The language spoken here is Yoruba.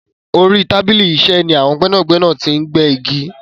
Orí tábìlì iṣẹ́ ni àwọn gbẹ́nàgbẹ́nà ti ń gbẹ́ igi.